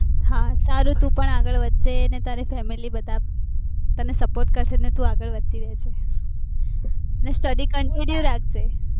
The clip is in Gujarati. હા સારું તું પણ આગળ વધજે અને તારી family બધા તને support કરશે ને તું આગળ વધતી રે જે અને studycountinue રાખજે